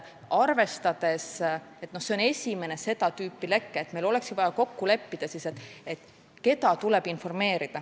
Arvestades, et see on esimene seda tüüpi leke, oleks meil vaja kokku leppida, keda tuleb informeerida.